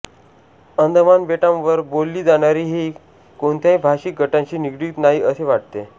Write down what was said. अंदमान बेटांवर बोलली जाणारी ही कोणत्याही भाषिक गटांशी निगडित नाही असे वाटते